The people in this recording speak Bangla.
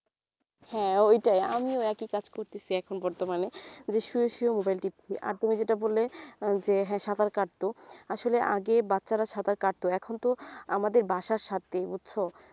হ্যাঁ ওইটাই আমিও একই কাজ করতেসি এখন বর্তমানে যে শুয়ে শুয়ে mobile টিপছি আর তুমি যেটা বললে আহ যে সাঁতার কাটত আসলে আগে বাচ্চারা সাঁতার কাটত এখন তো আমাদের বাসার সাথেই বুঝছ